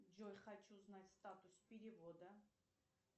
джой хочу знать статус перевода